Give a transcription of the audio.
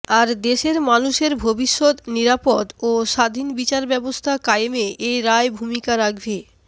আর দেশের মানুষের ভবিষ্যত নিরাপদ ও স্বাধীন বিচার ব্যবস্থা কায়েমে এ রায় ভূমিকা রাখবে